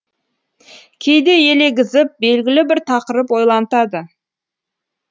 кейде елегізіп белгілі бір тақырып ойлантады